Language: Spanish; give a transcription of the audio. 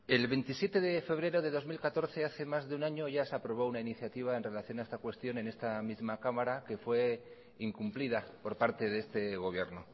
el veintisiete de febrero de dos mil catorce hace más de un año ya se aprobó una iniciativa en relación a esta cuestión en esta misma cámara que fue incumplida por parte de este gobierno